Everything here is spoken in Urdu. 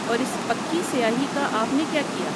اور اس پکی سیاہی کا آپ نے کیا کِیا؟